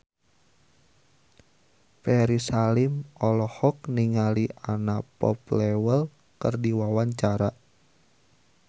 Ferry Salim olohok ningali Anna Popplewell keur diwawancara